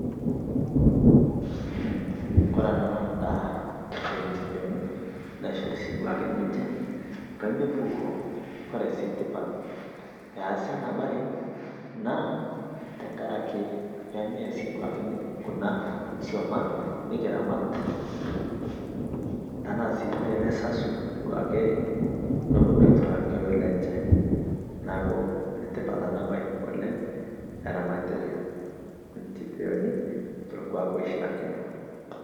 ndaa ee nchipeyonii naishorii ninchee peemepukoo, kore sii tipat pee easii anaa bai naa peemee, tanaa sii peemesasuu noponuu aituraa lkiloi lenchee